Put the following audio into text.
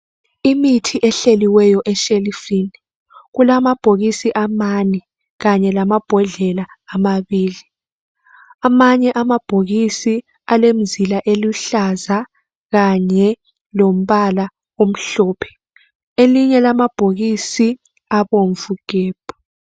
Imithi ehleliweyo eshelifini, kulamabhokisi amane kanye lamabhodlela amabili ,amanye amabhokisi alemizila eluhlaza kanye lombala omhlophe ,elinye lamabhokisi abomvu gebhu.